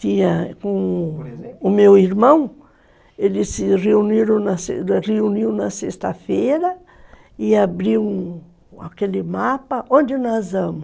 Com o meu irmão, ele se reuniam na sexta-feira e abriam aquele mapa, onde nós vamos.